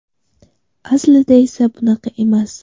Aslida esa bunaqa emas.